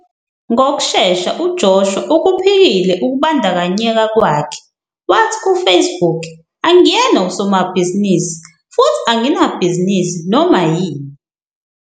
Ngokushesha uJoshua ukuphikile ukubandakanyeka kwakhe, wathi kuFacebook, "Angiyena usomabhizinisi futhi anginabhizinisi noma yini.